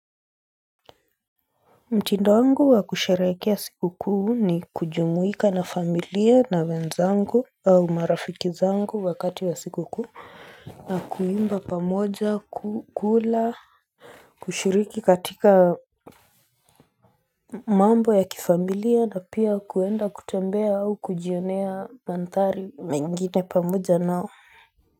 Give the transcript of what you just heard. Mtindo wangu wa kusherehekea siku kuu ni kujumuika na familia na wenzangu au marafiki zangu wakati wa siku kuu na kuimba pamoja, kukula kushiriki katika mambo ya kifamilia na pia kuenda kutembea au kujionea mandhari mengine pamoja nao.